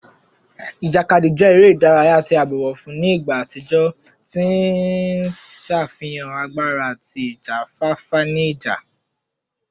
Ijakadi jẹ ere idaraya ti a bọwọ fun ni igba atijọ, ti n ṣafihan agbara ati ijafafa ni ija